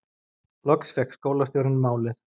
Loksins fékk skólastjórinn málið